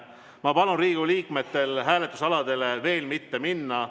Ma palun Riigikogu liikmetel hääletusaladele veel mitte minna.